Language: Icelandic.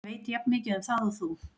Ég veit jafnmikið um það og þú.